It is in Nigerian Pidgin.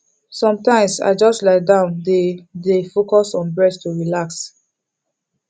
sometimes i just lie down dey dey focus on breath to relax